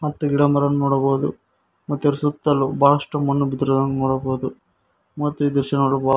ಮತ್ತು ಗಿಡ ಮರಗಳನ್ನು ನೋಡಬಹುದು ಮತ್ತು ಇದರ ಸುತ್ತಲೂ ಬಹಳಷ್ಟು ಮಣ್ಣು ಬಿದ್ದಿರುವುದನ್ನು ನೋಡಬಹುದು ಮತ್ತು ಈ ದೃಶ್ಯ ನೋಡಲು ಬ --